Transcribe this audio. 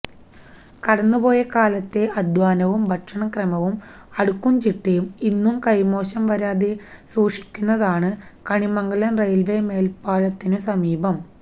കടന്നുപോയ കാലത്തെ അധ്വാനവും ഭക്ഷണക്രമവും അടുക്കുംചിട്ടയും ഇന്നും കൈമോശം വരാതെ സൂക്ഷിക്കുന്നതാണു കണിമംഗലം റെയിൽവേ മേൽപാലത്തിനു സമീപം